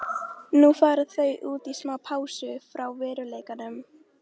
Nú fara þau út í smá pásu frá veruleikanum.